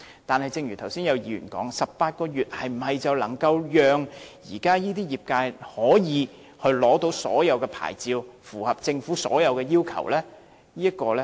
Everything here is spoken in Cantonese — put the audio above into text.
可是，正如剛才有議員提到 ，18 個月是否就能讓現時的業界可以取得各項牌照並符合政府的所有要求呢？